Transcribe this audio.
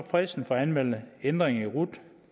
fristen for at anmelde ændringer i rut